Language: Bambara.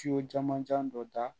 jamanjan dɔ da